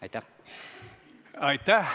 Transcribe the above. Aitäh!